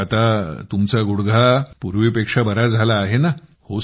तर मग आता तुमचा गुडघा पूर्वीपेक्षा बरा झाला आहे ना